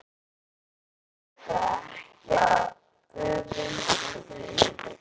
Vita ekki að ég öfunda þau.